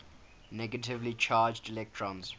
negatively charged electrons